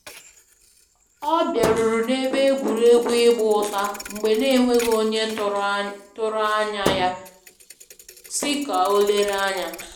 Ọ biaruru na ebe egwuregwu ịgba ụta mgbe n'enweghi onye tụrụ anya tụrụ anya ya, si ka o lere anya